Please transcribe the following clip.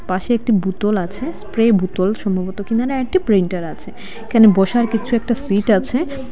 পাশে একটি বুতল আছে স্প্রে বুতল সম্ভবত কিনারে একটি প্রিন্টার আছে এখানে বসার কিছু একটা সিট আছে।